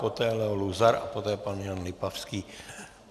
Poté Leo Luzar a poté pan Jan Lipavský.